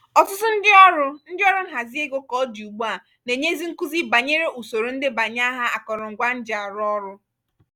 ọtụtụ ndị ọrụ ndị ọrụ nhazi ego ka ọ dị ugbua na-enyezi nkuzi banyere usoro ndebanyeaha akọrọngwa njiarụọrụ́.